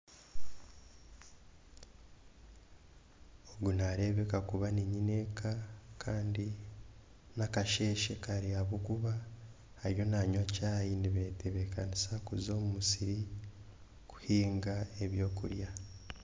Ogu nareebeka kuba ni nyineeka Kandi nakasheeshe kare ahakuba ariyo nangwa chai nayeteebekesa kuza omu musiri kuhinga ebyokurya